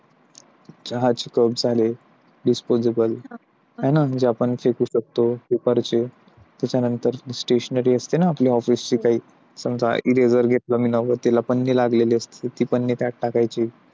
चहाचे cup झाले. disposable आपण जे फेकू शकतो. त्याच्यानंतर stationary असते ना? आपल्या office ची काही समजा eraser घेतला मी त्याला पन्नी लागलेली असते ती पन्नी त्यात टाकायची.